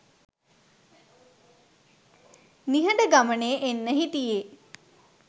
නිහඬ ගමනේ එන්න හිටියේ